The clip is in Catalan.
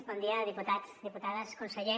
bon dia diputats diputades conseller